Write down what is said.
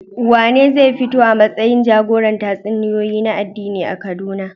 Wanene zai fito a matsayin jagoran tatsuniyoyi na addini a Kaduna?